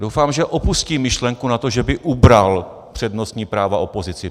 Doufám, že opustí myšlenku na to, že by ubral přednostní práva opozici.